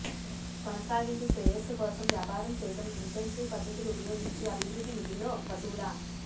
కొనసాగింది శ్రేయస్సు కోసం వ్యాపార చేయడం ఇంటెన్సివ్ పద్ధతులు ఉపయోగించి అభివృద్ధి మిల్లుల్లో పశువుల